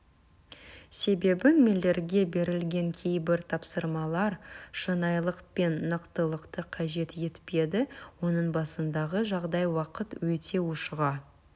себебі миллерге берілген кейбір тапсырмалар шынайылық пен нақтылықты қажет етпеді оның басындағы жағдай уақыт өте ушыға